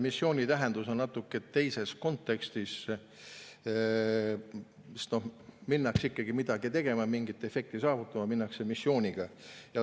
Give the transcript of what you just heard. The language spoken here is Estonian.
Missiooni tähendus on natuke teises kontekstis, sest minnakse ikkagi midagi tegema, mingit efekti saavutama, minnakse missiooniga.